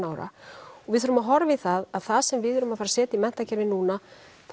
ára við þurfum að horfa í það að það sem við erum að fara að setja í menntakerfið núna